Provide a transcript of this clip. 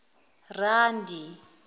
randi